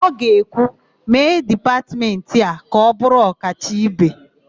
Ọ ga-ekwu, "mee dipatmentị a ka ọ bụrụ ọkacha ibe"!